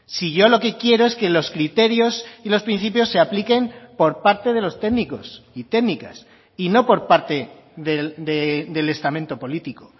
si yo lo que quiero es que los criterios y los principios se apliquen por parte de los técnicos y técnicas y no por parte del estamento político